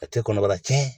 A tɛ kɔnɔbara cɛn